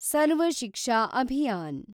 Sarva Shiksha Abhiyan